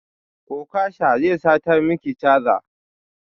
Okasha zai sata maki caza